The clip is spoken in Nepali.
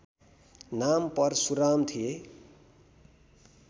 नाम परशुराम थिए